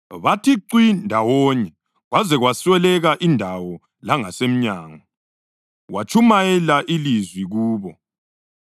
Bathi cwi ndawonye kwaze kwasweleka indawo langasemnyango, watshumayela ilizwi kubo.